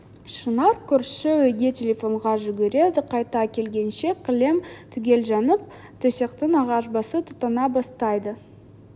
шынар көрші үйге телефонға жүгіреді қайта келгенше кілем түгел жанып төсектің ағаш басы тұтана бастайды